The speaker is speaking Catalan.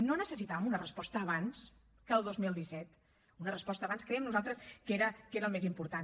no necessitàvem una resposta abans que el dos mil disset una resposta abans creiem nosaltres que era el més important